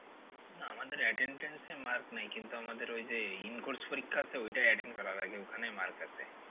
না আমাদের attendance এ marks নেই কিন্তু আমাদের ওই যে in course পরীক্ষা আছে ওটায় attend করা লাগে ওখানে mark আছে।